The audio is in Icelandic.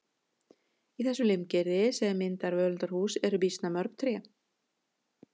Í þessu limgerði sem myndar völundarhús eru býsna mörg tré.